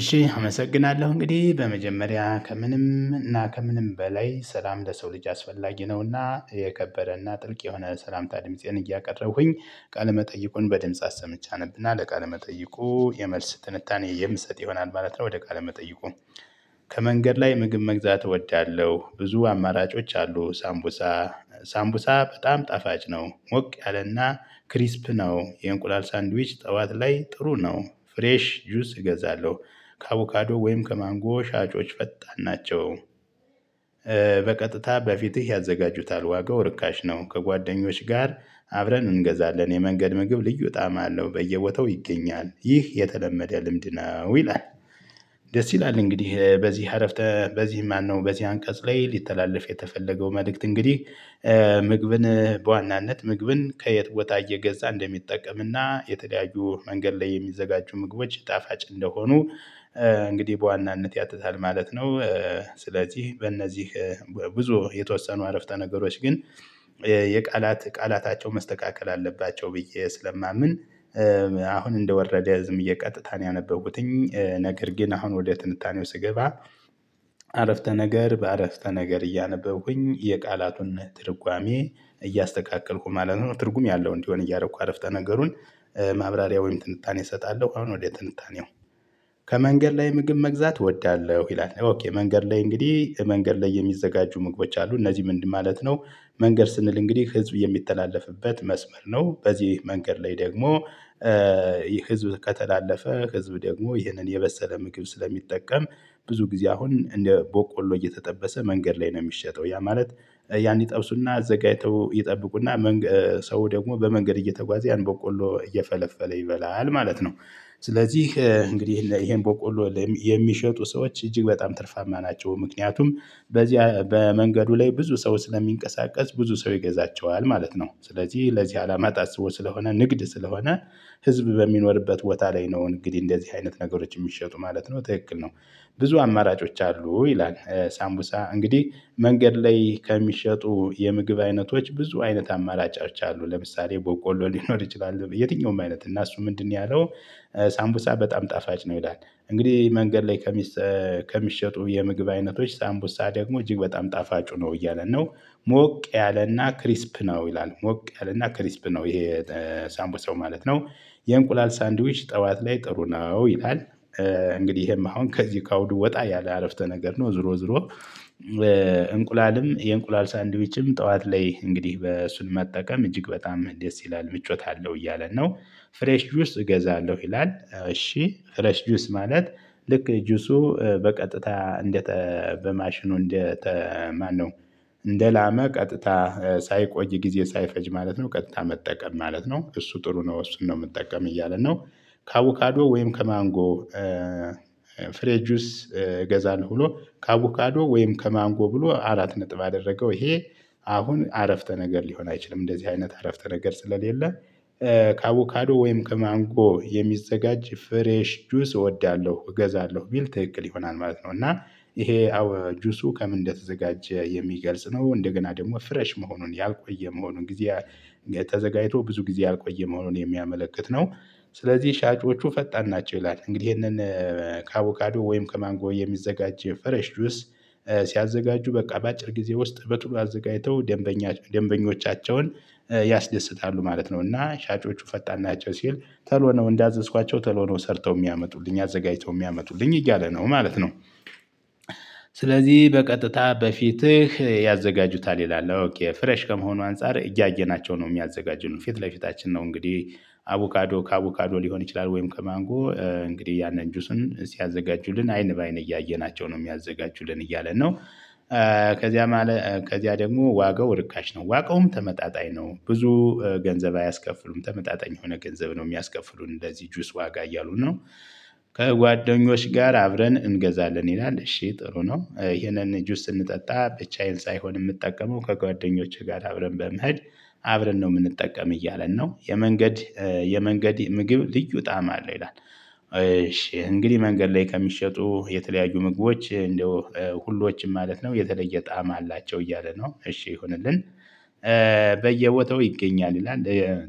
እሺ አመሰግናለሁ እንግዲህ በመጀመሪያ ከምንም እና ከምንም በላይ ሰላም ለሰው ልጅ አስፈላጊ ነውና የከበረና ጥልቅ የሆነ ሰላምታ ድምፄን እያቀረሁኝ ቃለመጠይቁን በድምጽ አሰምቼ አነብና ለቃለመጠይቁ መጠይቁ የመልስ ትንታኔ የምትሰጥ ይሆናል ማለት ነው። ወደ ቃል መጠይቁ? ከመንገድ ላይ ምግብ መግዛት እወዳለሁ። ብዙ አማራጮች አሉ። ሳምቡሳ ሳምቡሳ በጣም ጣፋጭ ነው ሞቅ ያለና ክሪስፕ ነው። የእንቁላል ሳንድዊች ጠዋት ላይ ጥሩ ነው። ፍሬሽ ጁስ እገዛለሁ ከአቮካዶ ወይም ከማንጎ ሻጮች ፈጣን ናቸው። በቀጥታ በፊትህ ያዘጋጁታል ዋጋው ርካሽ ነው። ከጓደኞች ጋር አብረን እንገዛለን። የመንገድ ምግብ ልዩ ጣዕም አለው። በየወተው ይገኛል ይህ የተለመደ ልምድ ነው። ይላል? ደስ ይላል እንግዲህ በዚህ በዚህ ማነው በዚህ አንቀጽ ላይ ሊተላለፍ የተፈለገው መልእክት እንግዲህ? ምግብን በዋናነት ምግብን ከየት ቦታ እየገዛ እንደሚጠቀምና የተለያዩ መንገድ ላይ የሚዘጋጁ ምግቦች ጣፋጭ እንደሆኑ። እንግዲህ በዋናነት ያትታል ማለት ነው። ስለዚህ በእነዚህ ብዙ የተወሰኑ ዐረፍተ ነገሮች ግን የቃላት ቃላታቸው መስተካከል አለባቸው ብዬ ስለማምን። አሁን እንደ ወረደ ዝም ብየ ቀጥታ ነው ያነበብኩትኝ ነገር ግን አሁን ወደ ትንታኔው ስገባ። ዐረፍተ ነገር በዐረፍተ ነገር እያነበብኩኝ የቃላቱን ትርጓሜ እያስተካከልኩ ማለት ነው ትርጉም ያለው እንዲሆን እያደረኩ ዐረፍተ ነገሩን ማብራሪያ ወይም ጥንታኔ እሰጣለሁ። አሁን ወደ ጥንታኔው? ከመንገድ ላይ ምግብ መግዛት እወዳለሁ ይላል። ኦኬ መንገድ ላይ እንግዲህ መንገድ ላይ የሚዘጋጁ ምግቦች አሉ እነዚህ ምንድን ማለት ነው? መንገድ ስንል እንግዲህ ህዝብ የሚተላለፍበት መስመር ነው። በዚህ መንገድ ላይ ደግሞ ህዝብ ከተላለፈ ህዝብ ደግሞ ይህንን የበሰለ ምግብ ስለሚጠቀም። ብዙ ጊዜ አሁን እንደ ቦቆሎ እየተጠበሰ መንገድ ላይ ነው እሚሸጠው ያ ማለት ያን ይጠብሱና አዘጋጅተው ይጠብቁና ሰው ደግሞ በመንገድ እየተጓዘ ያን ቦቆሎ እየፈለፈለ ይበላል ማለት ነው። ስለዚህ እንግዲህ ይሄን ቦቆሎ የሚሸጡ ሰዎች እጅግ በጣም ትርፋ ናቸው ምክንያቱም በዚያ በመንገዱ ላይ ብዙ ሰው ስለሚንቀሳቀስ ብዙ ሰው ይገዛቸዋል ማለት ነው። ስለዚህ ለዚህ አላማ ታስቦ ስለሆነ ንግድ ስለሆነ። ህዝብ በሚኖርበት ቦታ ላይ ነው እንግዲህ እንደዚህ አይነት ነገሮች እሚሸጡ ማለት ነው ትክክል ነው። ብዙ አማራጮች አሉ ይላል? ሳምቡሳ እንግዲህ መንገድ ላይ ከሚሸጡ የምግብ አይነቶች ብዙ አይነት አማራጮች አሉ ለምሳሌ ቦቆሎ ሊኖር ይችላል። የትኛውም አይነት እና እሱ ምንድነው ያለው? ሳንቡሳ በጣም ጣፋጭ ነው። ይላል እንግዲህ መንገድ ላይ ከሚሸጡ የምግብ አይነቶች ሳምቡሳ ደግሞ እጅግ በጣም ጣፋጩ ነው እያለን ነው። ሞቅ ያለና ክሪስፕ ነው ይላል? ሞቅ ያለና ክሪስፕ ነው ይሄ ሳቡሳው ማለት ነው። የእንቁላል ሳንድዊች ጥዋት ላይ ጥሩ ነው ይላል? እንግዲህ ይሄም አሁን ከዚህ ከአውዱ ወጣ ያለ ዐረፍተ ነገር ነው ዙሮ ዙሮ። እንቁላልም የእንቁላል ሳንድዊችም ጥዋት ላይ እንግዲህ እሱን መጠቀም እጅግ በጣም ደስ ይላል ምቾት አለው እያለን ነው። ፍሬሽ ውስጥ እገዛለሁ ይላል? እሺ ፍሬሽ ጁስ ማለት ልክ ጁሱ በቀጥታ በማሽኑ በማሽኑ እንደ ላመ ቀጥታ ሳይቆይ ጊዜ ሳይፈጅ ማለት ነው። ቀጥታ መጠቀም ማለት ነው እሱ ጥሩ ነው እሱን ነው እምጠቀም እያለ ነው። ከአቦካዶ ወይም ከማንጎ። ፍሬሽ ጁስ እገዛለሁ ብሎ ከአቮካዶ ወይም ከማንጎ ብሎ አራት ነጥብ አደረገው። ይሄ አሁን ዐረፍተ ነገር ሊሆን አይችልም እንደዚህ አይነት ዐረፍተ ነገር ስለሌለ። ከአቮካዶ ወይም ከማንጎ የሚዘጋጅ ፍሬሽ ጁስ እወዳለሁ እገዛለሁ ቢል ትክክል ይሆናል ማለት ነው። እና ይሄ ጁሱ ከምን እንደተዘጋጀ የሚገልጽ ነው። እንደገና ደሞ ፍሬሽ መሆኑን ያልቆየ መሆኑን ተዘጋጅቶ ብዙ ጊዜ ያልቆየ መሆኑን የሚያመለክት ነው። ስለዚህ ሻጮቹ ፈጣን ናቸው ይላል? እንግዲህ ይሄንን ከአቡካዶ ወይም ከማንጎ የሚዘጋጅ ፈሬሽ ጁስ። ሲያዘጋጁ በቃ በአጭር ጊዜ ውስጥ በቶሎ አዘጋጅተው ደንበኞቻቸውን ያስደስታሉ ማለት ነው። እና ሻጮቹ ፈጣን ናቸው ሲል ቶሎ ነው እንዳዘዝኳቸው ተልእኮ ነው ሰርተው የሚያመጡልኝ አዘጋጅተው የሚያመጡልኝ እያለ ነው ማለት ነው። ስለዚህ በቀጥታ በፊትህ ያዘጋጁታል ይላል? ኦኬ ፍሬሽ ከመሆኑ አንፃር እያየናቸው ነው እሚያዘጋጁት ፊት ለፊታችን ነው። እንግዲህ አቮካዶ ከአቮካዶ ሊሆን ይችላል ወይም ከማንጎ እንግዲህ ያንን ጁስን ሲያዘጋጁልን አይን በአይን እያየናቸው ነው እሚያዘጋጁልን እያለ ነው። ከዚያ ከዚያ ደግሞ ዋጋው ርካሽ ነው ዋጋውም ተመጣጣኝ ነው። ብዙ ገንዘብ አያስከፍሉም ተመጣጣኝ የሆነ ገንዘብ ነው እሚያስከፍሉን። ለዚህ ጁስ ዋጋ እያሉን ነው። ከጓደኞች ጋር አብረን እንገዛለን ይላል? እሺ ጥሩ ነው ይሄንን ጁስ ስንጠጣ ብቻዬን ሳይሆን እምጠቀመው ከጓደኞቼ ጋር አብረን በመሄድ አብረን ነው እምንጠቀም እያለን ነው። የመንገድ የመንገድ ምግብ ልዩ ጣም አለው ይላል። እሺ እንግዲህ መንገድ ላይ ከሚሸጡ የተለያዩ ምግቦች እንደው ሁሎችም ማለት ነው የተለየ ጣዕም አላቸው እያለ ነው። እሺ ይሁንልን። በየቦታው ይገኛል ይላል?